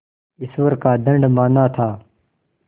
ईश्वर का दंड माना था